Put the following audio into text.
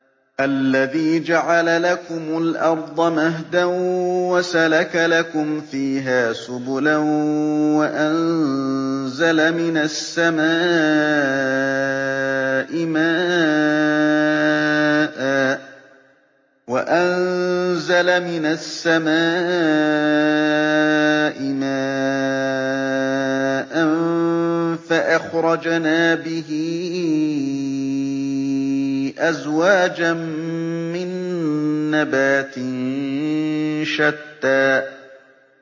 الَّذِي جَعَلَ لَكُمُ الْأَرْضَ مَهْدًا وَسَلَكَ لَكُمْ فِيهَا سُبُلًا وَأَنزَلَ مِنَ السَّمَاءِ مَاءً فَأَخْرَجْنَا بِهِ أَزْوَاجًا مِّن نَّبَاتٍ شَتَّىٰ